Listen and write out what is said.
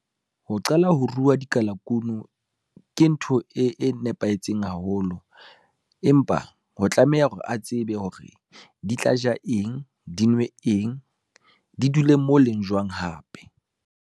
Ho qala ho ruwa dikalakunu, ke ntho e nepahetseng haholo, empa ho tlameha hore a tsebe hore di tla ja eng, di nwe eng, di dule mo leng jwang hape.